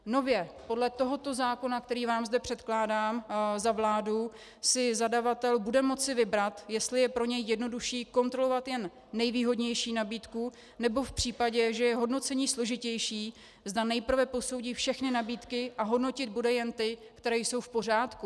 Nově podle tohoto zákona, který vám zde předkládám za vládu, si zadavatel bude moci vybrat, jestli je pro něj jednodušší kontrolovat jen nejvýhodnější nabídku, nebo v případě, že je hodnocení složitější, zda nejprve posoudí všechny nabídky a hodnotit bude jen ty, které jsou v pořádku.